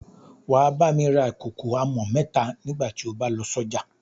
Wà á bá mi rà kòkò àmọ̀ mẹ́ta nígbà tí ó bá lọ sọ́jà.